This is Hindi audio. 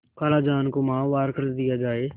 खालाजान को माहवार खर्च दिया जाय